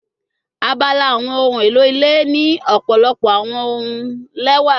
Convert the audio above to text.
Abala awọn ohun elo ile ni ọpọlọpọ awọn ohun lẹwa